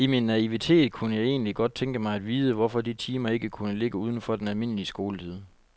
I min naivitet kunne jeg egentlig godt tænke mig at vide, hvorfor de timer ikke kunne ligge uden for den almindelige skoletid.